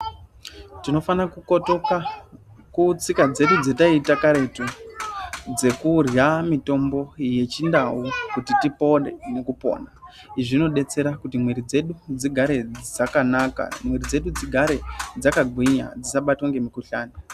Tinofana kukotoka kutsika dzedu dzetaiita karetu dzekurya mitombo yechindau kuti tipore nekupona. Izvi zvinodetsera kuti mwiiri dzedu dzigare dzakanaka, mwiiri dzedu dzigare dzakagwinya, dzisabatwa ngemikuhlani.